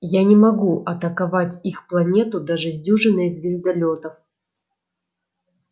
я не могу атаковать их планету даже с дюжиной звездолётов